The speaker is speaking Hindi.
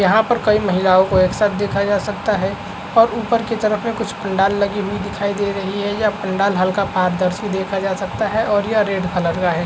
यहाँ पर कई महिलाओं को एक साथ देखा जा सकता है और ऊपर की तरफ में कुछ पंडाल लगी हुई दिखाई दे रही है ये पंडाल हल्का अपारदर्शी देखा जा सकता है और ये रेड कलर का है।